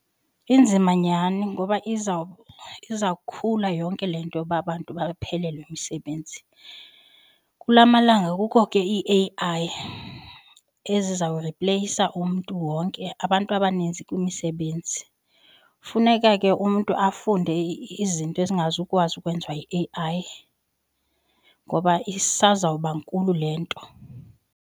Inzima nyhani ngoba izawukhula yonke le nto yoba abantu baphelelwe yimisebenzi. Kulaa malanga kukho ke ii-A_I ezizawuripleyisa umntu wonke abantu abaninzi kwimisebenzi. Funeka ke umntu afunde izinto ezingazukwazi ukwenziwa yi-A_I ngoba isazawuba nkulu le nto.